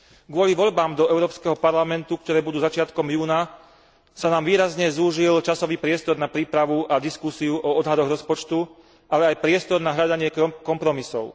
Kvôli voľbám do Európskeho parlamentu, ktoré budú začiatkom júna, sa nám výrazne zúžil časový priestor na prípravu a diskusiu o odhadoch rozpočtu, ale aj priestor na hľadanie kompromisov.